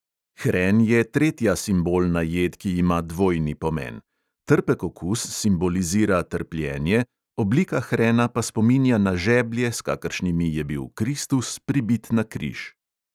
Hren je tretja simbolna jed, ki ima dvojni pomen: trpek okus simbolizira trpljenje, oblika hrena pa spominja na žeblje, s kakršnimi je bil kristus pribit na križ.